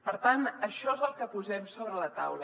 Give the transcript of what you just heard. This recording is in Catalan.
per tant això és el que posem sobre la taula